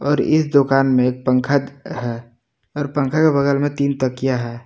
और इस दुकान एक पंखा है और पंखा के बगल में तीन तकिया है।